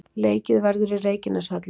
Leikið verður í Reykjaneshöllinni.